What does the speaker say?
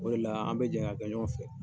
O re la, an bi jɛ ka kɛ ɲɔgɔn fɛ.